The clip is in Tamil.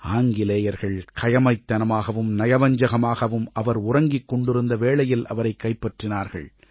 ஆங்கிலேயர்கள் கயமைத்தனமாகவும் நயவஞ்சகமாகவும் அவர் உறங்கிக் கொண்டிருந்த வேளையில் அவரைக் கைப்பற்றினார்கள்